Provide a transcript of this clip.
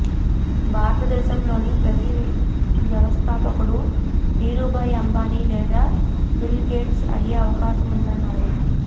భారతదేశంలోని ప్రతి వ్యవస్థాపకుడు ధీరూభాయ్ అంబానీ లేదా బిల్ గేట్స్ అయ్యే అవకాశం ఉందన్నారు